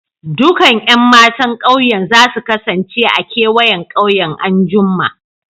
Dukan Yan matan ƙauyen za su kasance a'kewayen ƙauyen an'jumma.